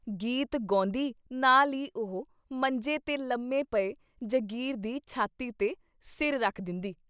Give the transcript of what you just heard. ਗੀਤ ਗੌਂਦੀ ਨਾਲ਼ ਈ ਉਹ ਮੰਜੇ ਤੇ ਲੰਮੇ ਪਏ ਜਗੀਰ ਦੀ ਛਾਤੀ 'ਤੇ ਸਿਰ ਰੱਖ ਦਿੰਦੀ।